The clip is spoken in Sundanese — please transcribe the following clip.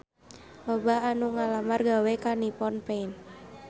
Loba anu ngalamar gawe ka Nippon Paint